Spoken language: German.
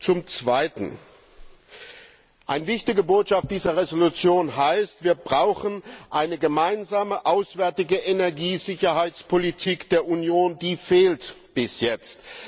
Zum Zweiten Eine wichtige Botschaft dieser Entschließung heißt Wir brauchen eine gemeinsame auswärtige Energiesicherheitspolitik der Union diese fehlt bis jetzt!